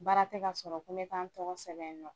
Baara tɛ ka sɔrɔ ko bɛ taa n tɔgɔ sɛbɛn yen nɔ.